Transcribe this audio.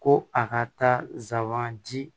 Ko a ka taa sabanan di